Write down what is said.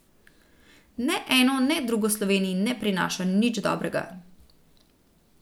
Ne eno ne drugo Sloveniji ne prinaša nič dobrega.